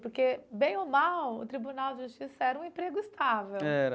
Porque, bem ou mal, o Tribunal de Justiça era um emprego estável.